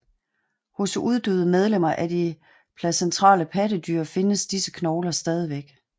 Hos uddøde medlemmer af de placentale pattedyr fandtes disse knogler stadig